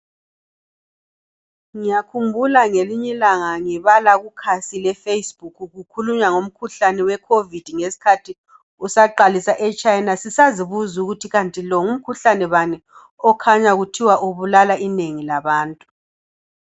Ngiyakhumbula ngelinye ilanga ngibala kukhasi le facebook kukhulunywa ngomkhuhlane we COVID ngesikhathi kusaqalisa e China sisazibuza ukuthi kanti lo ngumkhuhlane bani okhanya kuthiwa ubulala inengi labantu